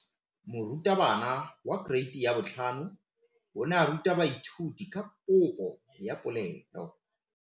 Moratabana wa kereiti ya 5 o ne a ruta baithuti ka popô ya polelô.